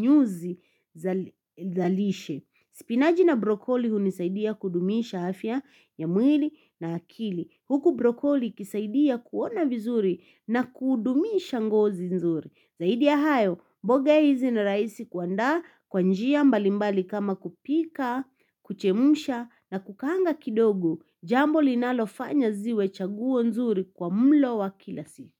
nyuzi za lishe. Spinaji na brokoli hunisaidia kudumisha afya ya mwili na akili. Huku brokoli ikisaidia kuona vizuri na kudumisha ngozi nzuri. Zaidi ya hayo, mboga hizi na rahisi kuandaa kwa njia mbalimbali kama kupika, kuchemsha na kukaanga kidogo, jambo linalofanya ziwe chaguo nzuri kwa mlo wa kila siku.